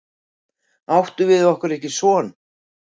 Áttum við okkur ekki son?